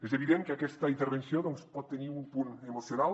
és evident que aquesta intervenció doncs pot tenir un punt emocional